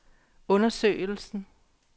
undersøgelsen